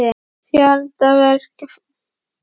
Farandverkafólk og farfuglar eru samferða suður.